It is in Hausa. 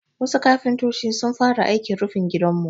Wasu kafintoci sun fara aikin rufin gidanmu.